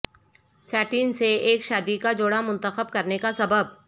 satin سے ایک شادی کا جوڑا منتخب کرنے کا سبب